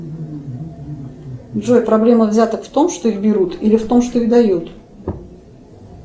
джой проблема взяток в том что их берут или в том что их дают